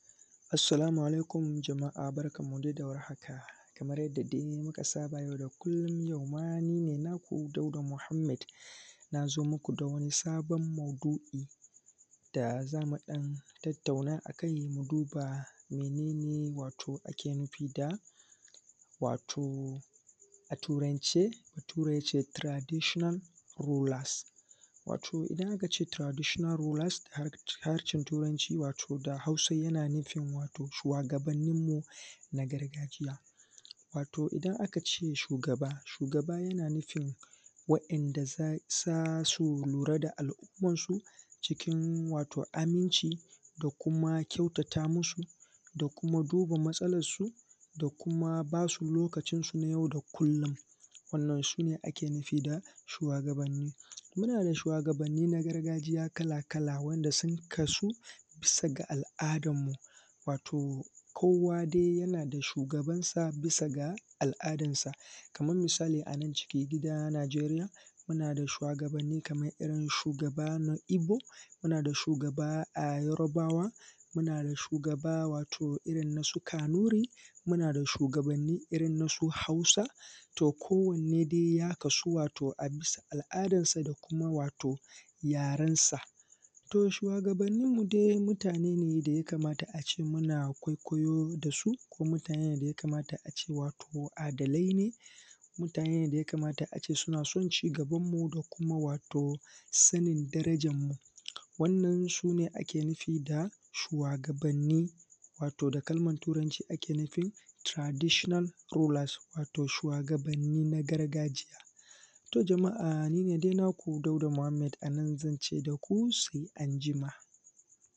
Assalamu alaikum jama’a barkan mu dai da warhaka kaman yadda dai aka saba a har kullun yau ma ni ne naku Dauda Mohammed na zo muku da wani sabon maudu’i da za mu dan tattauna shi mu duba. Wato mene ne ake nufi da a Turance, Bature ya ce traditional rulers wato da Hausa yana nufin shuwagabannin mu na gargajiya? Wato idan aka ce shugaba, shugaba yana nufin yana nufin waɗanda za su lura da al’umman su cikin wato aminci da kuma kyautata musu da kuma duba matsalansu da kuma ba su lokacin su na yau da kullun. Wannan su ne ake nufi da shuwagabannimu na da shuwagabanni na gargajiya kala-kala, sun kasu bisa ga al’adan mu wato kowa dai yana da shugabansa bisa ga al’adansa, kaman misali a nan cikin gida Najeriya muna da shuwagabanni kaman irirn shugaba na Igbo, muna da shugaba a Yarbawa muna da shugaba wato irin na su Kanuri muna da shugabanni irin na su Hausa to kowanne dai ya kasu a bisa ga al’adan sa da kuma yarensa. To, shugabannin mu dai mutane ne da ya kamata a ce muna kwaikwayo da su kuma mutane ne da ya kamata a ce adalai ne, mutane ne da ya kamata a ce suna son cigabanmu da kuma wato darajanmu, wannan su ne ake nufi da shuwagabanni wato a kalman Turanci ake nufin traditional rulers, wato shuwagabanni na gargajiya. To, jama’a ni ne dai naku Dauda Muhammed, a nan zan ce da ku sai anjima.